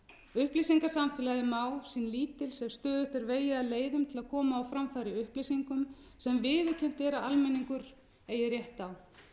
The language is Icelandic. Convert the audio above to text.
upplýsingasamfélagið má sín lítils ef stöðugt er vegið að leiðum til að koma á framfæri upplýsingum sem viðurkennt er að almenningur eigi rétt á þótt sum lönd hafi